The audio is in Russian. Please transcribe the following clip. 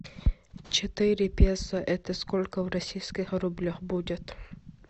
четыре песо это сколько в российских рублях будет